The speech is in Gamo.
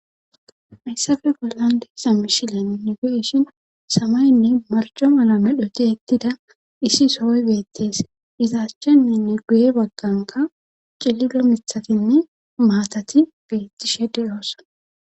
hayssafe gollande sa mishilen nigeishin samaynne marco mala medhoti ettida issi sohoy beettes izaashchennenne guye bagganka cillilo mithatinne maatati beettishe deyoossa